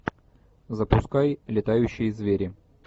запускай летающие звери